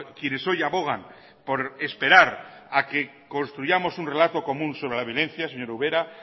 quienes hoy abogan por esperar a que construyamos un relato común sobre la vivencia señor ubera